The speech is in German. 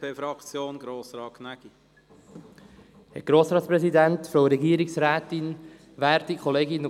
Darum unterstützen wir den Nichteintretensantrag.